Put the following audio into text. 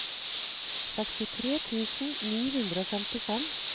sekstitre tusen ni hundre og femtifem